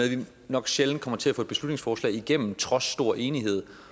nok sjældent kommer til at få et beslutningsforslag igennem trods stor enighed